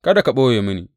Kada ka ɓoye mini.